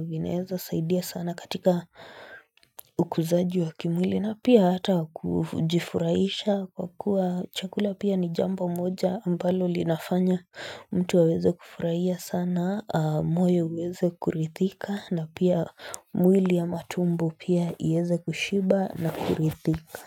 vineeza saidia sana katika ukuzaji wa kimwili na pia hata kujifuraisha kwa kuwa chakula pia ni jambo moja ambalo linafanya mtu aweze kufurahia sana moyo uweze kurithika na pia mwili ya matumbo pia ieze kushiba na kurithika.